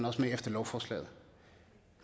også med efter lovforslaget